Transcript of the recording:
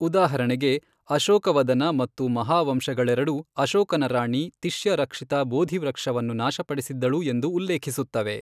ಉದಾಹರಣೆಗೆ, ಅಶೋಕವದನ ಮತ್ತು ಮಹಾವಂಶಗಳೆರಡೂ ಅಶೋಕನ ರಾಣಿ ತಿಶ್ಯರಕ್ಷಿತಾ ಬೋಧಿ ವೃಕ್ಷವನ್ನು ನಾಶಪಡಿಸಿದ್ದಳು ಎಂದು ಉಲ್ಲೇಖಿಸುತ್ತವೆ.